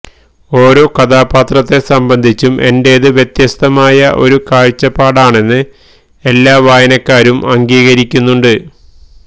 ഓരോ കഥാപാത്രത്തെ സംബന്ധിച്ചും എന്റേത് വ്യത്യസ്തമായ ഒരു കാഴ്ചപ്പാടാണെന്ന് എല്ലാ വായനക്കാരും അംഗീകരിക്കുന്നുണ്ട്